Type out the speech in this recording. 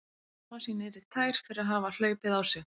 Skammast sín niður í tær fyrir að hafa hlaupið á sig.